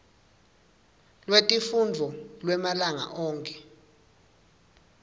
lwetifundvo lwemalanga onkhe